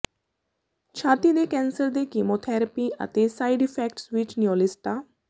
ਛਾਤੀ ਦੇ ਕੈਂਸਰ ਦੇ ਕੀਮੋਥੈਰੇਪੀ ਅਤੇ ਸਾਈਡ ਇਫੈਕਟਸ ਵਿੱਚ ਨਿਊਲਿਸਟਾ